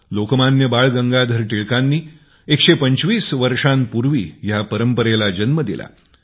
लोकमान्य बाळ गंगाधर टिळकांनी १२५ वर्षांपुर्वी ह्या परंपरेला जन्म दिला